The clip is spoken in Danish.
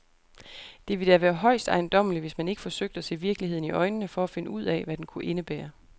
Det ville da være højst ejendommeligt, hvis man ikke forsøgte at se virkeligheden i øjnene for at finde ud af, hvad den kunne indebære.